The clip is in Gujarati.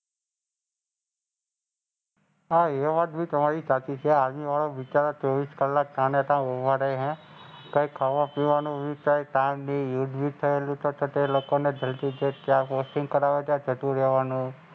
હાં એ વાત બી તમારી સાચી છે. Army વાળા બિચારા ચોવીસ કલાક ત્યાં ઊભા રઈને કઈ ખાવાપીવાનું ચ બી દૂધ બી નહીં. જતું રેવાનું.